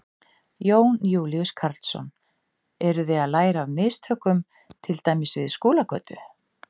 Jón Júlíus Karlsson: Eru þið að læra af mistökum til dæmis við Skúlagötu?